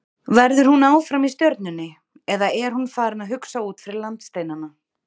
Verður hún áfram í Stjörnunni eða er hún farin að hugsa út fyrir landsteinana?